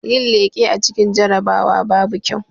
Yin leƙe a cikin jarabawa babu kyau